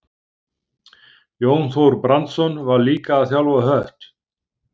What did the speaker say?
Jón Þór Brandsson var líka að þjálfa Hött.